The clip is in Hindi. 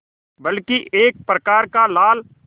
बल्कि एक प्रकार का लाल